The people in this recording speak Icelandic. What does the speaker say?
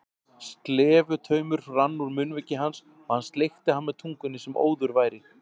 Slefutaumur rann úr munnviki hans og hann sleikti hann með tungunni sem óður væri.